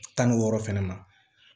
Tan ni wɔɔrɔ fɛnɛ na